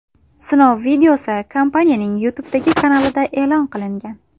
Sinov videosi kompaniyaning YouTube’dagi kanalida e’lon qilingan .